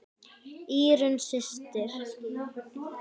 Írunn systir.